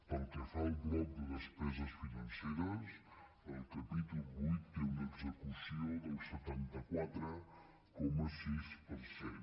pel que fa al bloc de despeses financeres el capítol viii té una execució del setanta quatre coma sis per cent